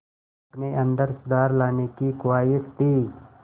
अपने अंदर सुधार लाने की ख़्वाहिश थी